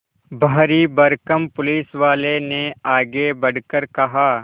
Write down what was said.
भारीभरकम पुलिसवाले ने आगे बढ़कर कहा